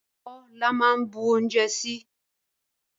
Abó la máa ń bu oúnjẹ sí